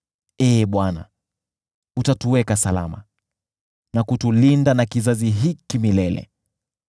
Ee Bwana , utatuweka salama na kutulinda na kizazi hiki milele.